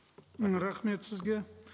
м рахмет сізге